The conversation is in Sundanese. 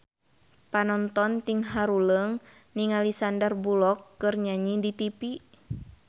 Panonton ting haruleng ningali Sandar Bullock keur nyanyi di tipi